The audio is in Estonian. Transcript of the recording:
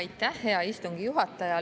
Aitäh, hea istungi juhataja!